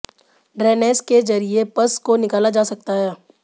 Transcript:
drainage के जरिए pus को निकाला जा सकता है